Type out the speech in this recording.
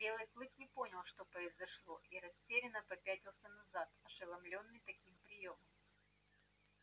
белый клык не понял что произошло и растерянно попятился назад ошеломлённый таким приёмом